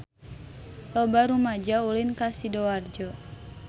Loba rumaja ulin ka Sidoarjo